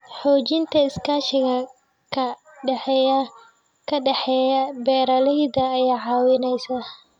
Xoojinta iskaashiga ka dhexeeya beeralayda ayaa caawinaysa.